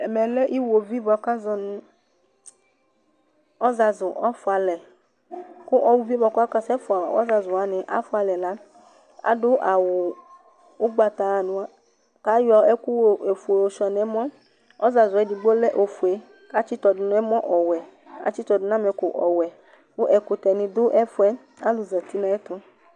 Ɛmɛ lɛ iɣovi bʋa k 'azɔ nʋ :ɔzazʋ ɔfʋalɛ, kʋ o uvie bʋa k'ɔka sɛfʋa ɔzazʋwanɩ afʋalɛ la , adʋ awʋ ʋgbata nʋa , k'ayɔ ɛkʋ ofue yɔsʋɩa n'ɛmɔ ; ɔzazʋɛ edigbo lɛ ofue k'atsɩtɔdʋ n'ɛmɔ ɔwɛ, k-atsɩtɔdʋ n'ɛmɛkʋ ɔwɛ ; ƙʋ ɛkʋtɛnɩ dʋ ɛfʋɛ , k'alʋ zati n'ayɛtʋ